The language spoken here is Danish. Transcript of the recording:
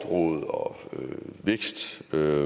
og så